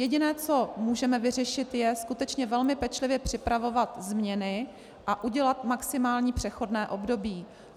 Jediné, co můžeme vyřešit, je skutečně velmi pečlivě připravovat změny a udělat maximální přechodné období.